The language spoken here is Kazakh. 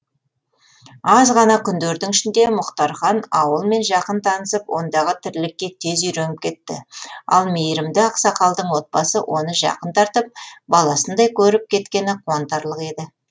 аз ғана күндердің ішінде мұхтархан ауылмен жақын танысып ондағы тірлікке тез үйреніп кетті ал мейірімді ақсақалдың отбасы оны жақын тартып баласындай көріп кеткені қуантарлық еді